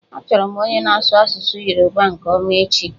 Achọrọ m onye na-asụ asụsụ Yoruba nke ọma echi.